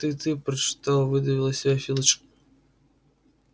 ты ты прочитал выдавил из себя филч